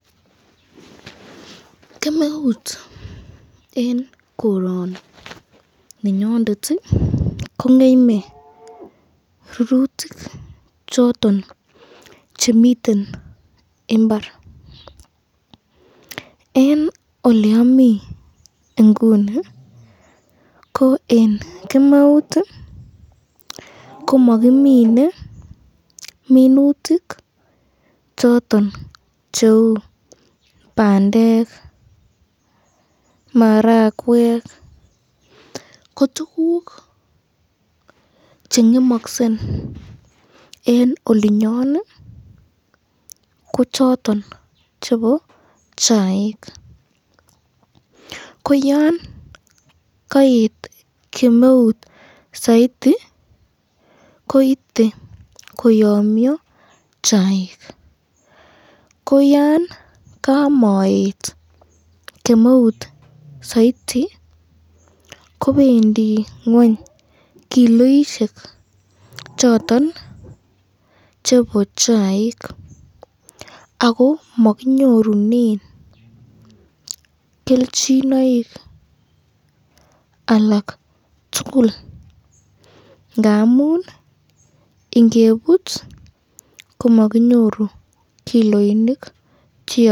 Kemeut eng koroninyondet kongeme rurutik choton chemiten imbar, eng olemami inguni, ko eng kemeut komakimine minutik choton cheu bandek, marakwek, ko tukuk chengemaksen eng olinyon ko choton chebo chaik, ko yan kaet kemeut saiti komiten koyomnyo chaik ,ko yon kamaet kemeut saiti kobendi ngweny kiloisyek choton chebo chaik ako makinyorunen kelchinoik alak tukul ngamun ingebut komakinyoru kiloinik cheamatin.